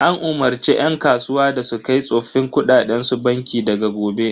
An umarce yan kasuwa da su kai tsoffin kuɗaɗen su banki daga gobe.